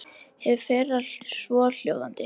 Hið fyrra svohljóðandi